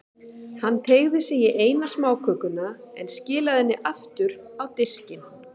Hann teygði sig í eina smákökuna, en skilaði henni aftur á diskinn.